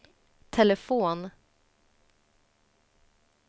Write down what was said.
telefon